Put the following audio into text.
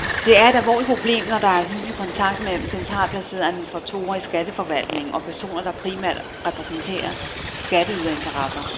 Det er et alvorligt problem, når der er hyppig kontakt mellem centralt placerede administratorer i skatteforvaltningen og personer, der primært repræsenterer skatteyderinteresser.